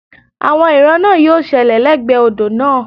Àwọn ìran náà yí ó ṣẹlẹ̀ lẹ́gbẹ̀ẹ́ odò náà